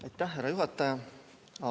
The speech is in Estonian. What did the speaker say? Aitäh, härra juhataja!